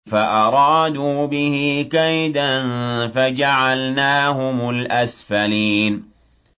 فَأَرَادُوا بِهِ كَيْدًا فَجَعَلْنَاهُمُ الْأَسْفَلِينَ